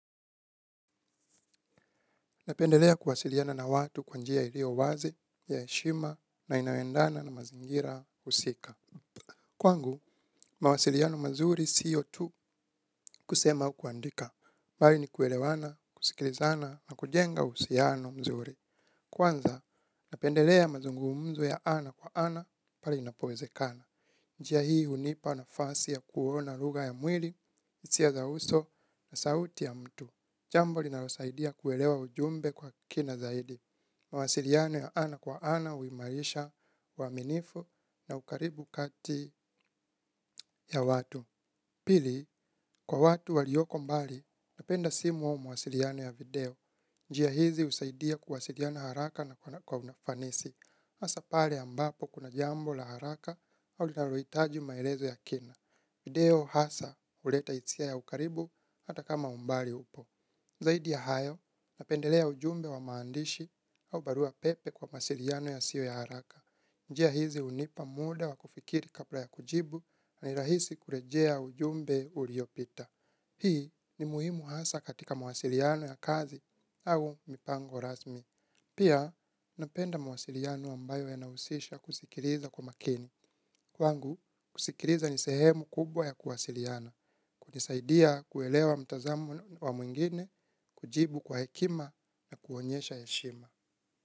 Napendelea kuwasiliana na watu kwa njia ilio wazi, ya eshima, na inayo endana na mazingira usika. Kwangu, mawasiliano mazuri siyo tu kusema au kuandika. Bali ni kuelewana, kusikilizana, na kujenga usiano mzuri. Kwanza, napendelea mazungumzo ya ana kwa ana pale inapowezekana. Njia hii hunipa nafasi ya kuona ruga ya mwili, isia za uso na sauti ya mtu. Jambo linalosaidia kuelewa ujumbe kwa kina zaidi. Mawasiliano ya ana kwa ana, uimarisha, uaminifu na ukaribu kati ya watu. Pili, kwa watu walioko mbali, napenda simu ao mawasiliano ya video. Njia hizi husaidia kuwasiliana haraka na kwa unafanisi. Hasa pale ambapo kuna jambo la haraka, au linaroitaji maelezo ya kina. Video hasa uleta isia ya ukaribu hata kama umbali upo. Zaidi ya hayo, napendelea ujumbe wa maandishi au barua pepe kwa masiliano yasio ya haraka. Njia hizi unipa muda wa kufikiri kapla ya kujibu na nirahisi kurejea ujumbe uliopita. Hii ni muhimu hasa katika masiliano ya kazi au mipango rasmi. Pia, napenda mawasiliano ambayo yanausisha kusikiriza kwa makini. Kwangu, kusikiriza ni sehemu kubwa ya kuwasiliana, kunisaidia kuelewa mtazamo wa mwingine, kujibu kwa hekima na kuonyesha heshima.